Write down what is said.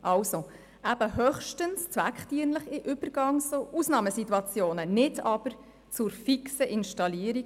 Dies soll höchstens in Übergangs- und Ausnahmesituationen der Fall sein, wenn es zweckdienlich ist.